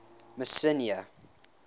messina